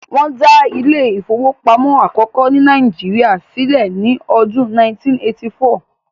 wón da Ilé ìfowópamọ́ akoko ni Naijiria silẹ ni Ọdun 1984